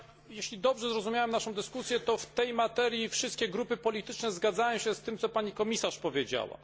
Jeśli dobrze zrozumiałem naszą dyskusję, to w tej materii wszystkie grupy polityczne zgadzają się z tym, co Pani Komisarz powiedziała.